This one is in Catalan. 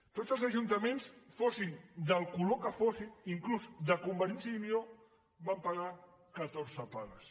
tots els ajuntaments fossin del color que fossin inclús de convergència i unió van pagar catorze pagues